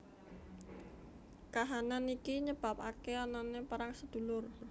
Kahanan iki nyebabake anane perang sedulur